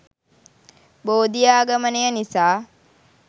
බෝධි ආගමනය නිසා